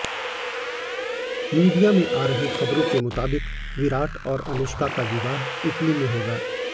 media में आ रही खबरों के मुताबिक विराट और अनुष्का का विवाह इटली में होगा